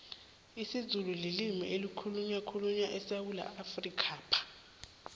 isizulu lilimi elikhulunywa khulyu esewula afrikapha